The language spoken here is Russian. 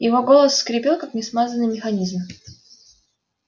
его голос скрипел как несмазанный механизм